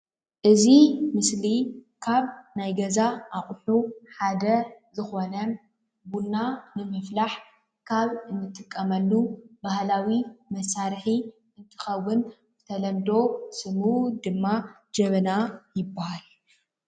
እዚ ምስሊ ካብ ናይ ገዛ ኣቑሑ ሓደ ዝኾነ ቡና ንምፍላሕ ካብ ንጥቀመሉ ባህላዊ መሳርሒ እንትኸውን ብተለምዶ ስሙ ድማ ጀበና ይበሃል፡፡